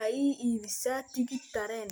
maxa I iibsa tigidh tareen